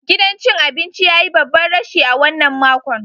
Gidan cin abinci ya yi babban rashi a wannan makon.